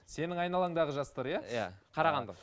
сенің айналаңдағы жастар иә иә қарағанды